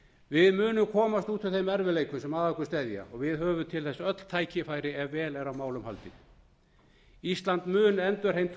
við munum komast út úr þeim erfiðleikum sem að okkur steðja og við höfum til þess öll tækifæri ef vel er á málum haldið ísland mun endurheimta